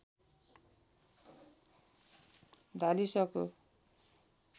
धालिसको